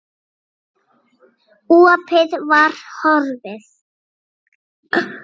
Opið var horfið.